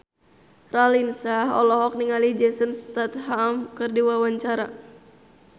Raline Shah olohok ningali Jason Statham keur diwawancara